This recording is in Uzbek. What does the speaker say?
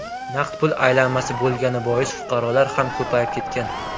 Naqd pul aylanmasi bo‘lgani bois, fuqarolar ham ko‘payib ketgan.